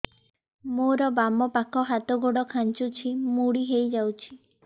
ମୋର ବାମ ପାଖ ହାତ ଗୋଡ ଖାଁଚୁଛି ମୁଡି ହେଇ ଯାଉଛି